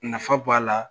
Nafa b'a la